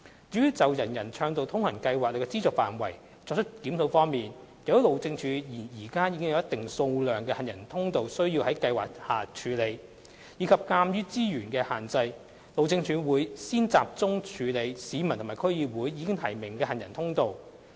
至於就"人人暢道通行"計劃的資助範圍作出檢視方面，由於路政署現時已有一定數量的行人通道需要在計劃下處理，以及鑒於資源的限制，路政署會先集中處理市民及區議會已提名的行人通道。